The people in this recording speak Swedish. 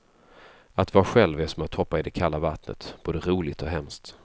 Att vara själv är som att hoppa i det kalla vattnet, både roligt och hemskt.